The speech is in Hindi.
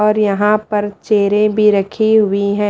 और यहां पर चेरें भी रखी हुई हैं।